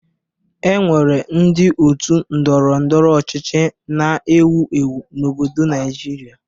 E nwere ndị otu Ndọrọ ndọrọ ọchịchị na-ewu ewu n'obodo Naịjirịa